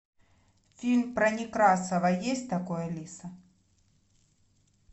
фильм про некрасова есть такой алиса